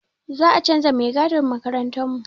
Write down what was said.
Za a canza mai gadin makarantarmu.